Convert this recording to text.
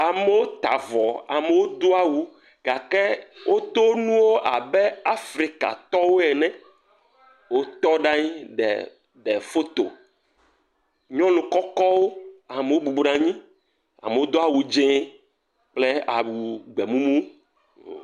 Amewo ta vɔ, amewo do awu gake wodo nuwo abe Afrikatɔwɔe ene. Wotɔ ɖe anyi ɖe foto. Nyɔnu kɔkɔwo, ame bɔbɔ nɔ anyi, amewo do awu dzee kple awu gbemumu.